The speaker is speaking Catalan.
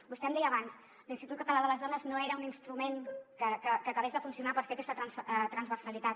vostè em deia abans que l’institut català de les dones no era un instrument que acabés de funcionar per fer aquesta transversalitat